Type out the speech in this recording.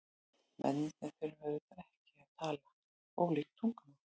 Mennirnir þurfa auðvitað ekki að tala ólík tungumál.